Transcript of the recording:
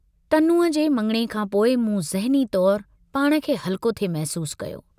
तनूअ जे मङिणे खां पोइ मूं ज़हनी तौर पाण खे हल्को थे महसूस कयो।